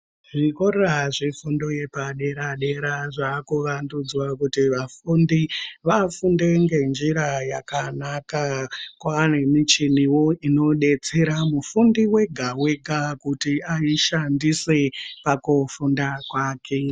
Zvikora zvefundo yepadera-dera ,zvaakuvandudzwa kuti vafundi vafunde ngenjira yakanaka. Kwaane michiniwo inodetsera mufundi ega-ega, kuti aishandise pakufunda kwake.